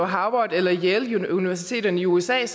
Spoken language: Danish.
harvard eller yale universitetet i usa jeg